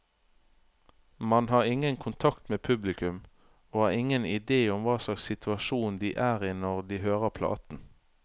Man har ingen kontakt med publikum, og har ingen idé om hva slags situasjon de er i når de hører platen.